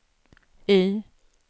Y